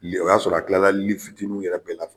I ye o y'a sɔrɔ a tilala li fitininw yɛrɛ bɛɛ la f